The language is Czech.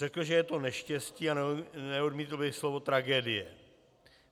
Řekl, že je to neštěstí a neodmítl by slovo tragédie.